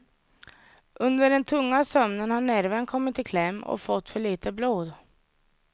Under den tunga sömnen har nerven kommit i kläm och fått för lite blod.